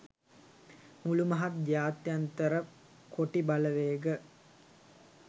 මුළු මහත් ජාත්‍යන්තර කොටි බලවේග